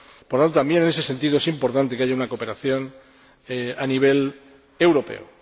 Por tanto, también en ese sentido es importante que haya una cooperación a nivel europeo.